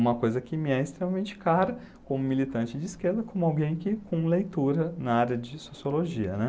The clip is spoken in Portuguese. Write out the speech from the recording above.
Uma coisa que me é extremamente cara como militante de esquerda, como alguém que com leitura na área de sociologia, né.